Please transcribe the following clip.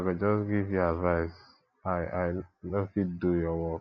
i go just give you advice i i no fit do your work